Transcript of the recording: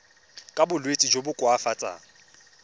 ka bolwetsi jo bo koafatsang